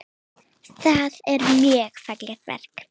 Það er mjög fallegt verk.